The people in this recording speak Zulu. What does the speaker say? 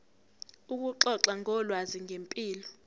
ukuxoxa ngolwazi ngempilo